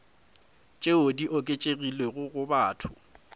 tšeo di oketšegilego go batho